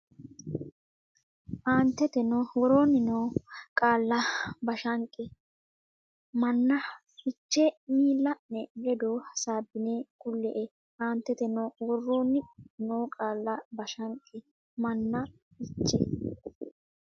Aanteteno woroonni noo qaalla Bashanqe manna fiche miilla ne ledo hasaabbine kulle e Aanteteno woroonni noo qaalla Bashanqe manna fiche.